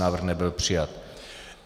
Návrh nebyl přijat.